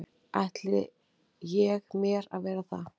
ætli ég mér að vera það.